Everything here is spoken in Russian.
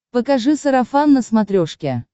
покажи сарафан на смотрешке